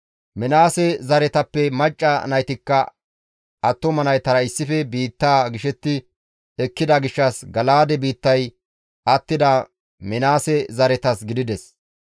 Minaase zaretappe macca naytikka attuma naytara issife biittaa gishetti ekkida gishshas Gala7aade biittay attida Minaase zaretas gidides.